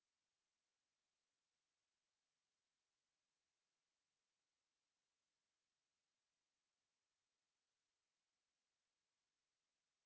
қонысбек жүсіпбеков қазақстанның ресейдегі консулы қазақтар көп шоғырланған жерлердегі әрбір мектепте интерактивті сыныптар ашуды ойластырдық